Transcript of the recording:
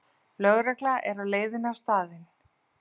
Lögregla er á leiðinni á staðinn